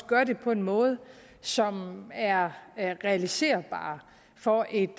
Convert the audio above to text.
gør det på en måde som er realiserbar for et